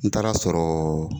N taar'a sɔrɔ